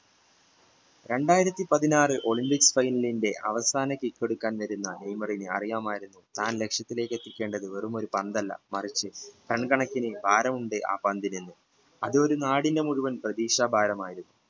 രണ്ടായിരത്തി പതിനാറു olypimcsfinal ന്റെ അവസാന kick എടുക്കാൻ വരുന്ന നെയ്മറിന് അറിയാമായിരുന്നു താൻ ലക്ഷ്യത്തിലേക്ക് വെറുമൊരു പന്തല്ല മറിച്ച് tun കണക്കിന് ഭാരം ഉണ്ട് ആ പന്തിന് അതൊരു നാടിനു മുഴുവൻ പ്രതീക്ഷ ഭാരമായിരുന്നു